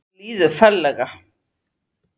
Mér líður ferlega.